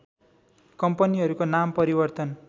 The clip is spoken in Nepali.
कम्पनीहरुको नाम परिवर्तन